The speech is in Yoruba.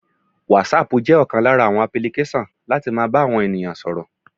Wasapu jẹ́ ọ̀kan lára àwọn apulikesan láti máa bá àwọn ènìyàn sọ̀rọ̀.